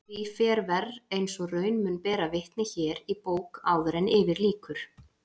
Því fer verr eins og raun mun bera vitni hér í bók áður yfir lýkur.